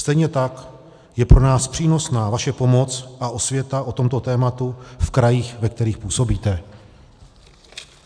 Stejně tak je pro nás přínosná vaše pomoc a osvěta o tomto tématu v krajích, ve kterých působíte.